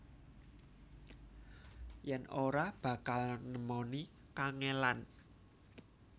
Yen ora bakal nemoni kangelan